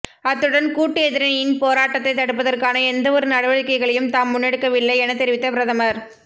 அத்துடன் கூட்டு எதிரணியின் போராட்டத்தை தடுப்பதற்கான எந்தவொரு நடவடிக்கைகளையும் தாம் முன்னெடுக்கவில்லை என தெரிவித்த பிரதமர்